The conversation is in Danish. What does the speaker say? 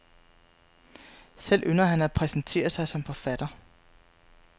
Selv ynder han at præsentere sig som forfatter.